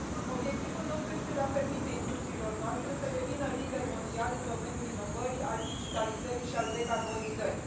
Obiectivul nostru este de a permite industriilor noastre să devină lider mondial în domeniul inovării, al digitalizării și al decarbonizării.